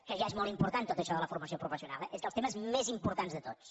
que ja és molt important tot això de la formació professional eh és dels temes més importants de tots